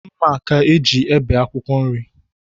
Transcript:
Mma ka e ji ebi akwụkwọ nri.